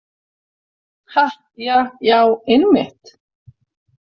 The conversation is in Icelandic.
Ha, ja, já, einmitt.